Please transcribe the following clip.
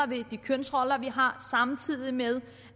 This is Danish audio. ved de kønsroller vi har samtidig med